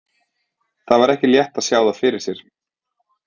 Það var ekki létt að sjá það fyrir sér.